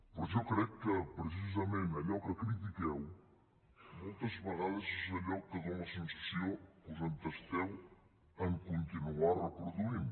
però jo crec que precisament allò que critiqueu moltes vegades és allò que dona la sensació que us entesteu en continuar reproduint